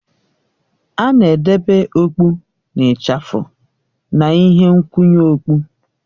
A na-edobe okpụ na ịchafụ na ihe nkwụnye okpụ